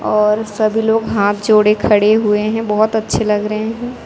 और सभी लोग हाथ जोड़े खड़े हुए हैं बहुत अच्छे लग रहे हैं।